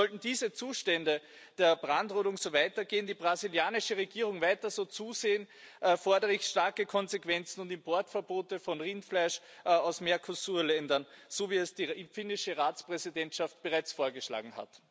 Sollten diese Zustände der Brandrodung so weitergehen, die brasilianische Regierung weiter so zusehen, fordere ich starke Konsequenzen und Importverbote von Rindfleisch aus Mercosur Ländern, so wie es die finnische Ratspräsidentschaft bereits vorgeschlagen hat.